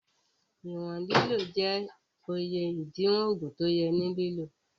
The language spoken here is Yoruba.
Ìwọn lílò jẹ́ iye ìdiwọ̀n ògùn tí ó yẹ ní lílò